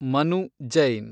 Manu Jain